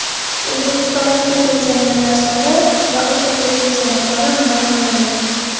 O‘zbekistondagi pensionerlar soni va o‘rtacha pensiya miqdori ma’lum qilindi.